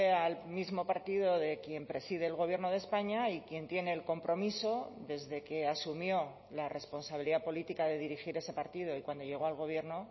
al mismo partido de quien preside el gobierno de españa y quien tiene el compromiso desde que asumió la responsabilidad política de dirigir ese partido y cuando llegó al gobierno